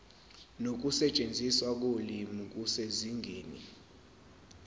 nokusetshenziswa kolimi kusezingeni